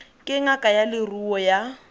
ke ngaka ya leruo ya